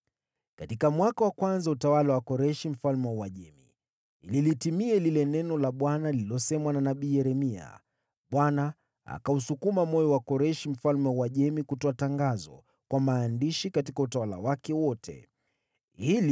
Katika mwaka wa kwanza wa utawala wa Koreshi mfalme wa Uajemi, ili kulitimiza neno la Bwana lililosemwa na nabii Yeremia, Bwana aliusukuma moyo wa Koreshi mfalme wa Uajemi kutangaza katika himaya yake yote kwa maandishi: